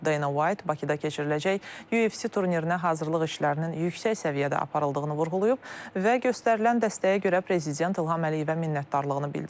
Dana White Bakıda keçiriləcək UFC turnirinə hazırlıq işlərinin yüksək səviyyədə aparıldığını vurğulayıb və göstərilən dəstəyə görə Prezident İlham Əliyevə minnətdarlığını bildirib.